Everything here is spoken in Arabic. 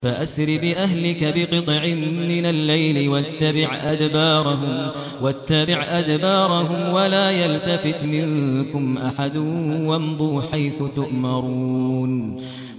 فَأَسْرِ بِأَهْلِكَ بِقِطْعٍ مِّنَ اللَّيْلِ وَاتَّبِعْ أَدْبَارَهُمْ وَلَا يَلْتَفِتْ مِنكُمْ أَحَدٌ وَامْضُوا حَيْثُ تُؤْمَرُونَ